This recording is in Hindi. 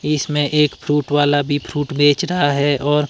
इसमें एक फ्रूट वाला भी फ्रूट बेच रहा है और--